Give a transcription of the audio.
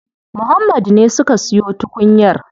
Muhammad ne suka siyo tukunyar.